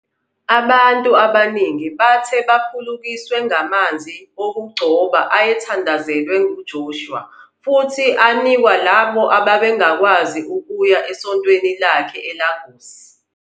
Abantu abaningi bathe baphulukiswe ngamanzi okugcoba ayethandazelwe nguJoshua futhi wanikwa labo ababengakwazi ukuya esontweni lakhe eLagos.